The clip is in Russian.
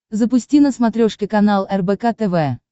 запусти на смотрешке канал рбк тв